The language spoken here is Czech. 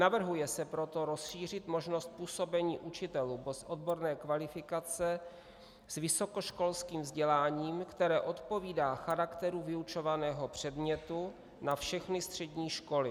Navrhuje se proto rozšířit možnost působení učitelů bez odborné kvalifikace s vysokoškolským vzděláním, které odpovídá charakteru vyučovaného předmětu, na všechny střední školy.